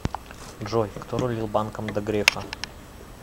джой кто рулил банком до грефа